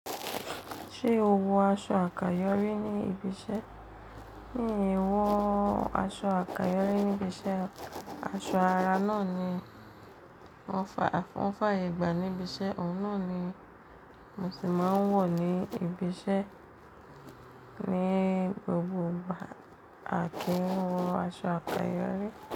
Ṣé o wọ aṣọ àkáyọrí ní ibi iṣẹ́? Ní ìwọ aṣọ àkáyọrí níbi iṣẹ́, aṣọ ara náà ni wọ́n ń fààyè gbà níbi iṣẹ́, òun náà ni mo sì máa ń wọ̀ ní ibi iṣẹ́ ní gbogbo àkíńwọ̀n aṣọ àkáyọrí.